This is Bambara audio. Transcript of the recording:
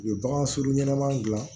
U ye bagan sogo ɲɛnama dilan